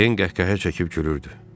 Ten qəhqəhə çəkib gülürdü.